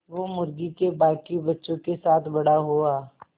वो मुर्गी के बांकी बच्चों के साथ बड़ा हुआ